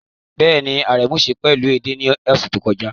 Bẹ́ẹ̀ni, Aremu sè é pẹ̀lú ẹde ní ọ̀sẹ̀ tó kọjá.